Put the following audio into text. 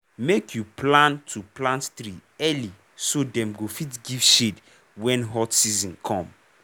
make you plan to plant tree early so dem go fit give shade when hot season come